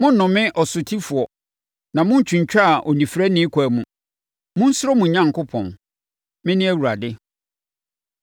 “ ‘Monnnome ɔsotifoɔ na monntwintwane onifirani akwan mu. Monsuro mo Onyankopɔn; Mene Awurade.